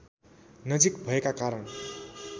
नजिक भएका कारण